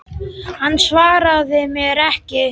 Hann svaraði mér ekki.